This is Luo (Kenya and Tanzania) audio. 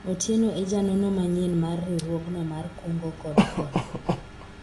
Otieno e janono manyien mar riwruogno mar kungo kod hola